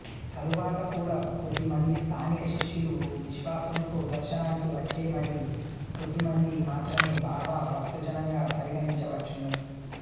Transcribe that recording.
తరువాత కూడా కొద్దిమంది స్థానిక శిష్యులు విశ్వాసంతో దర్శనానికి వచ్చే మరి కొద్దిమంది మాత్రమే బాబా భక్తజనంగా పరిగణించవచ్చును